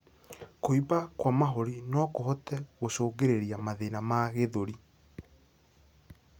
Kuimba kwa mahũri nokuhote gũcũngĩrĩrĩa mathĩna ma gĩthũri